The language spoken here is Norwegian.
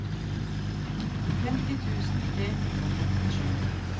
femti tusen tre hundre og femtisju